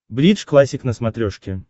бридж классик на смотрешке